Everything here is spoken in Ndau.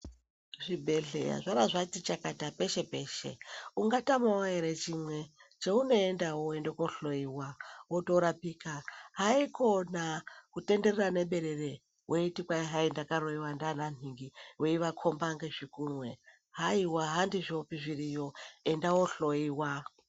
Zvibhedhleya zvabva zvati chakata peshe-peshe, ungatamavo ere chimwe cheunoendavo voende kohloiwa votorapika. Haikona kutenderera neberere weiti hai ndakaroiva ndeana nhingi veivakomba ngezvigunwe. Haiwa handizvopi zviriyo enda wohloiwa.